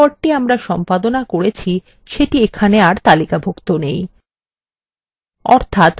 দেখুন যে recordthe আমরা সম্পাদনা করেছি সেটি এখানে আর তালিকাভুক্ত নেই